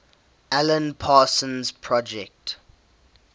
alan parsons project